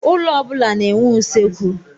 Ụlọ ọ bụla na-enwe usekwu.